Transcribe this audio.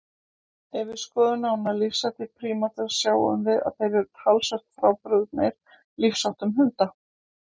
Ef við skoðum nánar lífshætti prímata sjáum við að þeir eru talsvert frábrugðnir lífsháttum hunda.